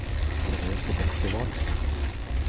Therese Bekkevold